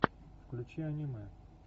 включи аниме